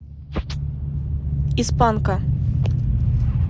из панка